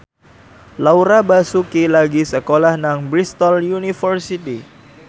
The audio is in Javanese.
Laura Basuki lagi sekolah nang Bristol university